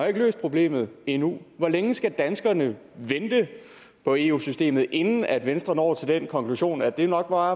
ikke løst problemet endnu hvor længe skal danskerne vente på eu systemet inden at venstre når til den konklusion at det nok var